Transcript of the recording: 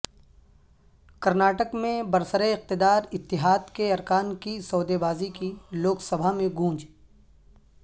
کرناٹک میں برسراقتدار اتحاد کے ارکان کی سودے بازی کی لوک سبھا میں گونج